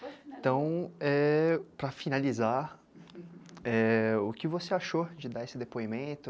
Então, é, para finalizar, é, o que você achou de dar esse depoimento?